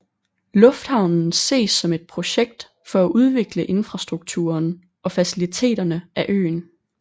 Lufthavnen ses som et projekt for at udvikle infrastrukturen og faciliteterne af øen